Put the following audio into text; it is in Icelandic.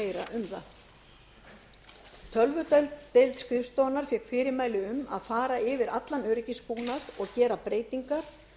meira um það tölvudeild skrifstofunnar fékk fyrirmæli um að fara yfir allan öryggisbúnað og gera breytingar